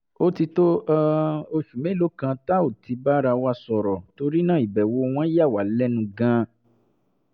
ó ti tó um oṣù mélòó kan tá ò ti bára wa sọ̀rọ̀ torí náà ìbẹ̀wò wọn yà wá lẹ́nu gan-an